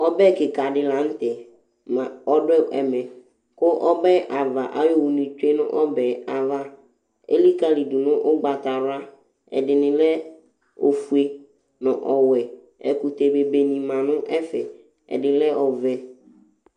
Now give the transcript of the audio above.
Ɔbɛ kika dila nutɛ la ɔdu ɛmɛ ku ɔbɛava ayu owu nitsue nu ɔbɛava elikalidu nu ugbatawla Ɛdini lɛ ofue nu ɔwɛ Ɛkutɛ bebe nima nu ɛfɛ ɛdi kɛ ɔvɛ